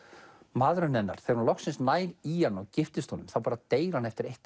maðurinn hennar þegar hún loksins nær í hann og giftist honum þá deyr hann eftir eitt